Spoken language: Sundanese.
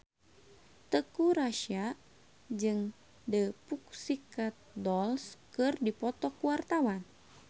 Teuku Rassya jeung The Pussycat Dolls keur dipoto ku wartawan